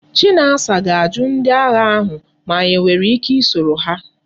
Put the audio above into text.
Chinasa ga aju ndi agha ahu ma anyi enwere ike i soro ha